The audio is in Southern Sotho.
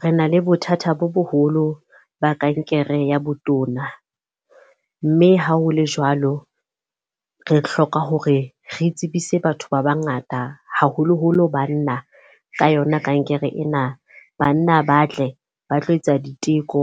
Re na le bothata bo boholo ba kankere ya botona. Mme ha ho le jwalo, re hloka hore re tsebise batho ba ba ngata haholoholo banna ka yona kankere ena. Banna ba tle ba tlo etsa diteko,